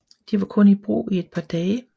De var kun i brug i et par dage